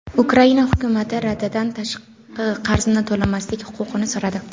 Ukraina hukumati Radadan tashqi qarzni to‘lamaslik huquqini so‘radi.